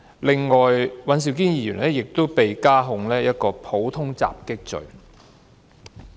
另外，尹兆堅議員亦都被加控一項普通襲擊罪。